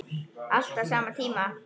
Allt á sama tíma.